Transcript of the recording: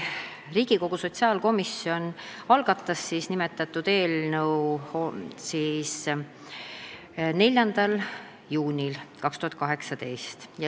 Riigikogu sotsiaalkomisjon algatas nimetatud eelnõu 4. juunil 2018.